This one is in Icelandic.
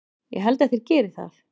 Ég held að þeir geri það!